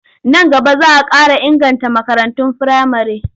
Nan gaba za a ƙara inganta makarantun firamare.